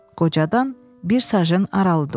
Qocadan bir sajın aralı durdu.